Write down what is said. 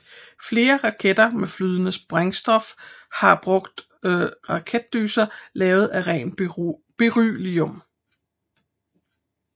Flere raketter med flydende brændstofhar brugt raketdyser lavet af ren beryllium